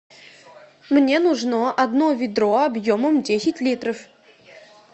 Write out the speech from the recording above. мне нужно одно ведро объемом десять литров